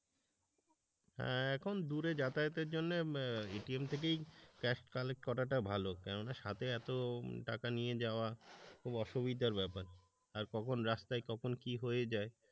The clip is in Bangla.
এখন দূরে যাতাযাতের জন্যে এটিএম থেকেই ক্যাশ কালেক্ট করাটা ভালো। কেননা সাথে এত টাকা নিয়ে যাওয়া খুব অসুবিধার ব্যাপার আর কখন রাস্তায় কখন কি হয়ে যায়,